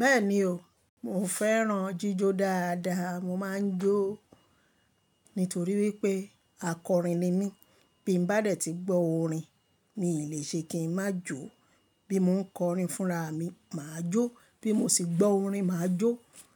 Bẹ́ẹ̀ni o, mo fẹ́ràn jíjó dáadáa. Mo máa ń jó nítorí wípé akọrin ni mí. Bí mo bá dẹ̀ tí gbọ́ orin, mi ò lè ṣe kí ń má jó. Bí mo ń kọrin fúnra mi, màá jó. Bí mo sì gbọ́ orin, màá jó.